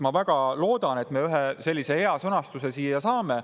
Ma väga loodan, et me ühe sellise hea sõnastuse siia saame.